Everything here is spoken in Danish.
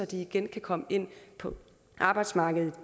de igen kan komme ind på arbejdsmarkedet